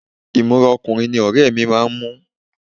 Ìmúra ọkùnrin ní ọ̀rẹ́ mi máa ń mú